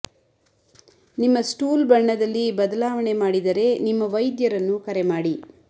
ನಿಮ್ಮ ಸ್ಟೂಲ್ ಬಣ್ಣದಲ್ಲಿ ಬದಲಾವಣೆ ಮಾಡಿದರೆ ನಿಮ್ಮ ವೈದ್ಯರನ್ನು ಕರೆ ಮಾಡಿ